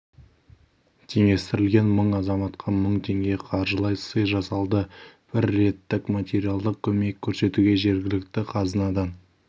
теңестірілген мың азаматқа мың теңге қаржылай сый жасалды бір реттік материалдық көмек көрсетуге жергілікті қазынадан